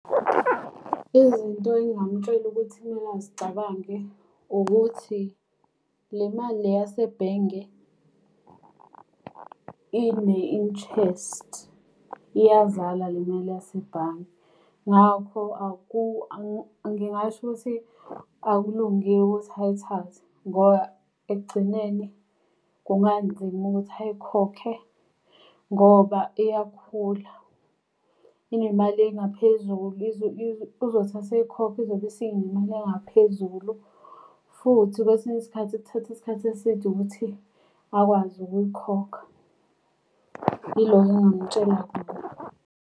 Izinto engingamtshela ukuthi kumele azicabange ukuthi le mali le yasebhenge ine-interest, iyazala le mali yasebhange. Ngakho ngingasho ukuthi akulungile ukuthi ayithathe, ngoba ekugcineni kunganzima ukuthi ayikhokhe. Ngoba iyakhula, inemali engaphezulu. Uzothi eseyikhokha izobe isinemali engaphezulu. Futhi kwesinye isikhathi kuthatha isikhathi eside ukuthi akwazi ukuyikhokha. Ilokho engingamtshela kona.